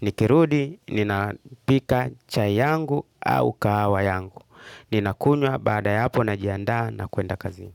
Nikirudi, ninapika chai yangu au kahawa yangu. Ninakunywa baada hapo najianda na kuenda kazi.